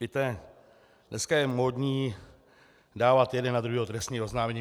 Víte, dneska je módní dávat jeden na druhého trestní oznámení.